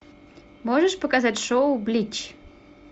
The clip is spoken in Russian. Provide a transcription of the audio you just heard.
можешь показать шоу блич